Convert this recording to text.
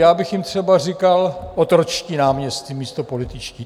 Já bych jim třeba říkal otročtí náměstci místo političtí.